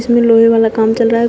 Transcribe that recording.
ये लोहे वाला काम चल रहा है।